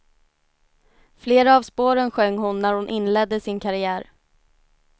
Flera av spåren sjöng hon när hon inledde sin karriär.